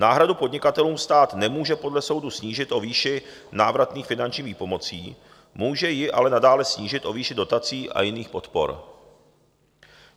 Náhradu podnikatelům stát nemůže podle soudu snížit o výši návratných finančních výpomocí, může ji ale nadále snížit o výši dotací a jiných podpor.